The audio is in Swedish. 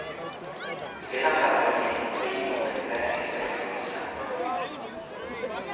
Sedan satte jag mig i min bil och åkte i väg, säger producenten.